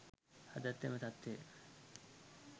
අදත් එම තත්වය